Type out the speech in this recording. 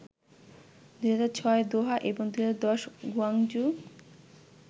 ২০০৬ Doha এবং ২০১০ Guangzhou